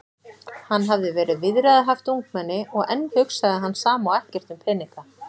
Hann hafði verið viðræðuhæft ungmenni og enn hugsaði hann sama og ekkert um peninga.